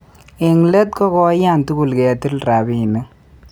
Eng let ko koiyan tugul ketil rabinik